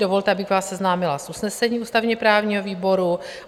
Dovolte, abych vás seznámila s usnesením ústavně-právního výboru.